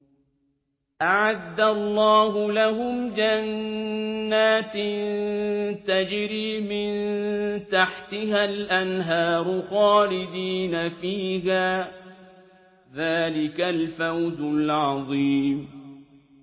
أَعَدَّ اللَّهُ لَهُمْ جَنَّاتٍ تَجْرِي مِن تَحْتِهَا الْأَنْهَارُ خَالِدِينَ فِيهَا ۚ ذَٰلِكَ الْفَوْزُ الْعَظِيمُ